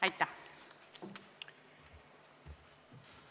Aitäh!